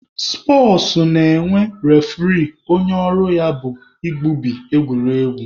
Spọtsụ na-enwe refuree onye ọrụ ya bụ igbubi egwuregwu.